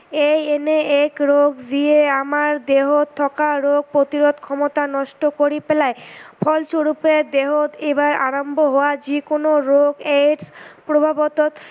ই এনে এক ৰোগ যি আমাৰ দেহত থকা ৰোগ প্ৰতিৰোধ ক্ষমতা নষ্ট কৰি পেলাই ফলস্বৰূপে দেহত এবাৰ আৰম্ভ হোৱা যিকোনো ৰোগ AIDS প্ৰভাৱত